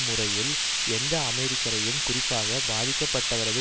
முறையில் எந்த அமெரிக்கரையும் குறிப்பாக பாதிக்கப்பட்டவரது